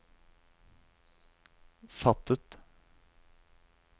fattet